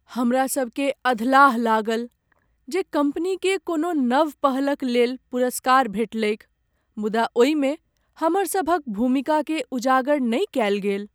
हमरा सब के अधलाह लागल जे कम्पनीकेँ कोनो नव पहल क लेल पुरस्कार भेटलैक मुदा ओहिमे हमरसभक भूमिकाकेँ उजागर नहि कयल गेल ।